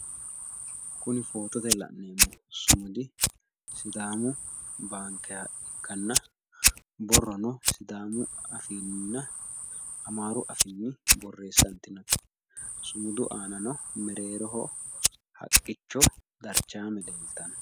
Kuni footote la'neemmo sumudi sidaamu baankeha ikkanna borrono sidaamu afiinninna amaaru afiinni borreessantinote. Sumudu aanano mereeroho haqqicho darchaame leeltanno